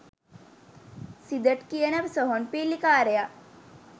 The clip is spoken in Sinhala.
සිදට් කියන සොහොන් පිල්ලිකාරයා.